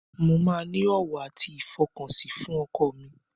Mo máa ní ọ̀wọ̀ àti ìfọkànsìn fún ọkọ mi.